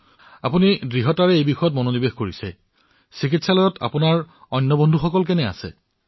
আপোনালোকে এই যুদ্ধত ব্যস্ত হৈ আছে মই জানিব বিচাৰিছো যে চিকিৎসালয়ত বাকীসকলৰ মানসিক স্থিতি কেনেকুৱা এতিয়া